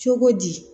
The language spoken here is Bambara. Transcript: Cogo di